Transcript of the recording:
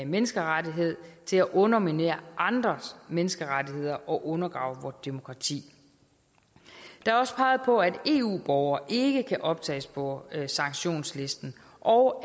menneskerettighed til at underminere andres menneskerettigheder og undergrave vort demokrati der er også peget på at eu borgere ikke kan optages på sanktionslisten og